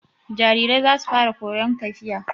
Jarirai za su fara koyon tafiya.